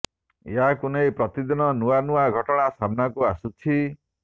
ଏହାକୁ ନେଇ ପ୍ରତିଦିନ ନୂଆ ନୂଆ ଘଟଣା ସାମ୍ନାକୁ ଆସୁଛି